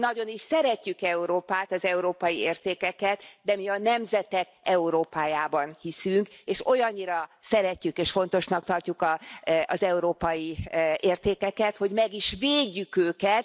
Mi nagyon is szeretjük Európát, az európai értékeket, de mi a nemzetek Európájában hiszünk, és olyannyira szeretjük és fontosnak tartjuk az európai értékeket, hogy meg is védjük őket.